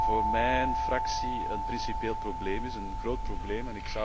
Voor mijn fractie is dit een principieel probleem, een groot probleem.